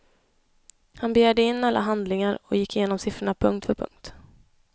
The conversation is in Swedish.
Han begärde in alla handlingar och gick igenom siffrorna punkt för punkt.